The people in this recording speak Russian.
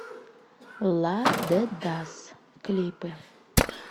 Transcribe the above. ла де дас клипы